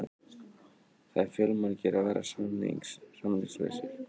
Það eru fjölmargir að verða samningslausir.